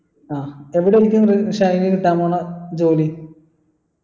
ആ എവിടെയായിരിക്കും റിൻഷാദിന് കിട്ടാൻ പോകുന്ന ജോലി